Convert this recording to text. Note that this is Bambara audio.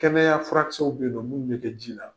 Kɛmɛya furakisɛw bɛ yen nɔ, minnu bɛ kɛ ji la.